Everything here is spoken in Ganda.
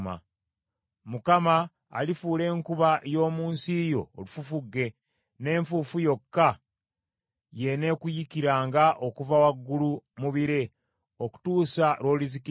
Mukama alifuula enkuba y’omu nsi yo olufufugge, n’enfuufu yokka y’eneekuyiikiranga okuva waggulu mu bire, okutuusa lw’olizikirizibwa.